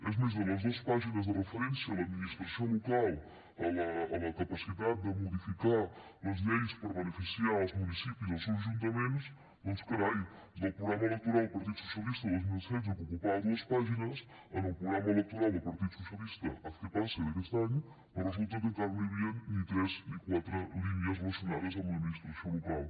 és més de les dos pàgines de referència a l’administració local a la capacitat de modificar les lleis per beneficiar els municipis i els seus ajuntaments doncs carai del programa electoral del partit socialista dos mil setze que ocupava dues pàgines al programa electoral del partit socialista haz que pase d’aquest any resulta que encara no hi havien ni tres ni quatre línies relacionades amb l’administració local